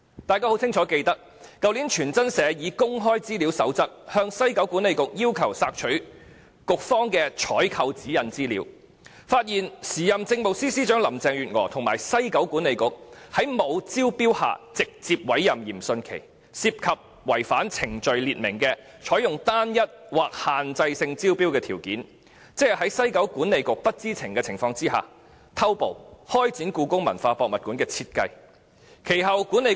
大家清楚記得，去年傳真社根據《公開資料守則》向西九管理局索取局方的《採購指引》資料，其後發現時任政務司司長林鄭月娥和西九管理局在沒有招標的情況下直接委任嚴迅奇，涉及違反採購程序所訂的"採用單一或限制性招標的條件"，在西九管理局董事局不知情的情況下偷步開展故宮館的設計工作。